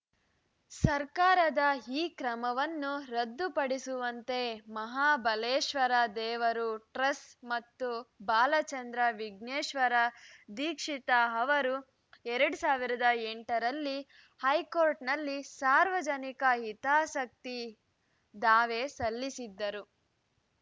ಸರ್ಕಾರದ ಈ ಕ್ರಮವನ್ನು ರದ್ದು ಪಡಿಸುವಂತೆ ಮಹಾಬಲೇಶ್ವರ ದೇವರು ಟ್ರಸ್ ಮತ್ತು ಬಾಲಚಂದ್ರ ವಿಘ್ನೇಶ್ವರ ದೀಕ್ಷಿತ ಅವರು ಎರಡ್ ಸಾವಿರದ ಎಂಟರಲ್ಲಿ ಹೈಕೋರ್ಟ್‌ನಲ್ಲಿ ಸಾರ್ವಜನಿಕ ಹಿತಾಸಕ್ತಿ ದಾವೆ ಸಲ್ಲಿಸಿದ್ದರು